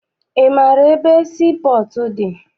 Ị maara ebe sii pọọtụ dị?